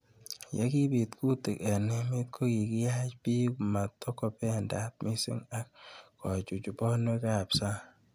Ye kipit kutik eng' emet ko kikiyach pik matokopendat mising' ak kichuchuch panwek ab sang'